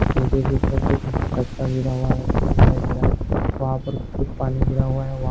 पीछे की तरफ कुछ कचरा गिर हुआ दिखाई दे रहा वहाँ पर कुछ पानी गिरा हुआ है।